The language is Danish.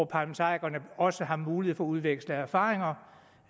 parlamentarikerne også har mulighed for at udveksle erfaringer